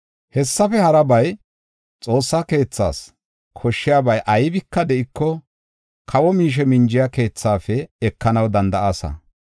Hessafe harabay Xoossaa keethas koshshiyabay aybika de7iko, kawo miishe minjiya keethaafe ekanaw danda7aasa.